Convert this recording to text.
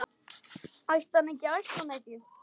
Ætti hann ætti hann ekki?